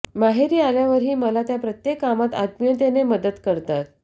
माहेरी आल्यावरही मला त्या प्रत्येक कामात आत्मीयतेने मदत करतात